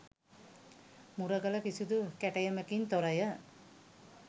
මුරගල කිසිදු කැටයමකින් තොරය.